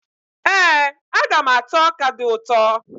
Ee, aga m ata ọka dị ụtọ.